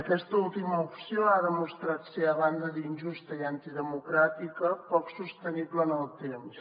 aquesta última opció ha demostrat ser a banda d’injusta i antidemocràtica poc sostenible en el temps